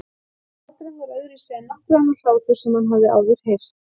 Og hláturinn var öðruvísi en nokkur annar hlátur sem hann hafði áður heyrt.